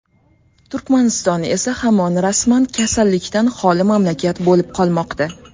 Turkmaniston esa hamon rasman kasallikdan xoli mamlakat bo‘lib qolmoqda.